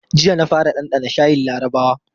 Jiya na fara ɗanɗana shayin larabawa.